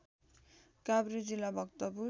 काभ्रे जिल्ला भक्तपुर